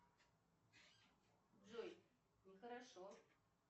джой ну хорошо